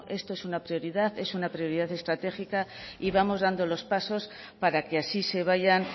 esto es una prioridad es una prioridad estratégica y vamos dando los pasos para que así se vayan